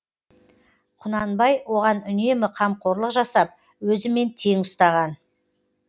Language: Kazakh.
құнанбай оған үнемі қамқорлық жасап өзімен тең ұстаған